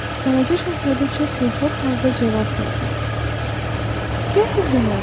Balaca şahzadə çox dilxor halda cavab verdi: "Qəfildən oldu.